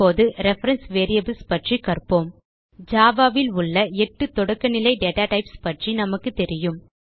இப்போது reference variables பற்றி கற்போம் ஜாவா ல் உள்ள 8 தொடக்க நிலை டேட்டா டைப்ஸ் பற்றி நமக்கு தெரியும்